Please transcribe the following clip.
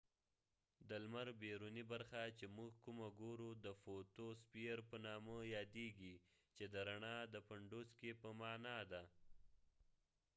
د لمر بیرونی برخه چې موږ کومه ګورو د فوتوسفیر په نامه یاديږی چې د رڼا د پنډوسکې په معنی ده